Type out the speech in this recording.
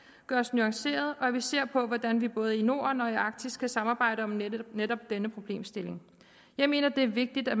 gøres nuanceret og at vi ser på hvordan vi både i norden og i arktis kan samarbejde om netop netop denne problemstilling jeg mener det er vigtigt at